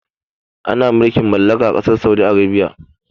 Ana mulkin mallaka ã kasar Saudi Arabia.